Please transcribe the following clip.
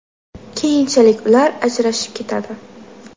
Keyinchalik ular ajrashib ketadi.